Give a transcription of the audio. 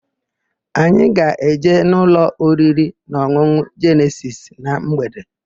Anyị ga-eje n'ụlọ oririnaọn̄ụn̄ụ Jenesis na mgbede.